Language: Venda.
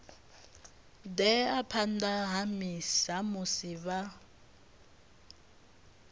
ḓea phanḓa ha musi vha